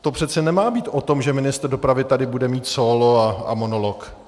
To přece nemá být o tom, že ministr dopravy tady bude mít sólo a monolog.